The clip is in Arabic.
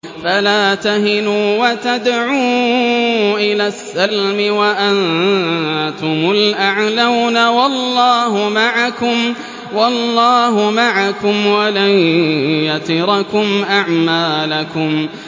فَلَا تَهِنُوا وَتَدْعُوا إِلَى السَّلْمِ وَأَنتُمُ الْأَعْلَوْنَ وَاللَّهُ مَعَكُمْ وَلَن يَتِرَكُمْ أَعْمَالَكُمْ